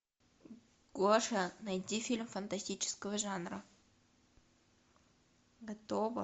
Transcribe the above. гоша найди фильм фантастического жанра готово